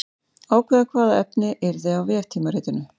Ákveða hvaða efni yrði á veftímaritinu.